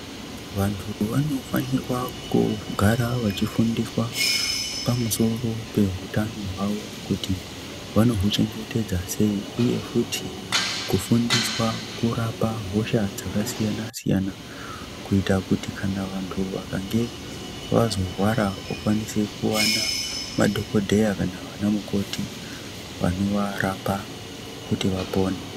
Vantu vanofanirwa kugara vachi fundiswa pamusoro pe hutano hwawo kuti vano huchengetedza sei uye futi kufundiswa kurapa hosha dzaka siyana siyana kuita kuti kana vantu vakange vazo rwara okwanise kuwana madhokodheya kana vana mukoti vano varapa kuti vapone.